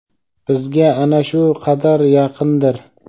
bizga ana shu qadar yaqindir.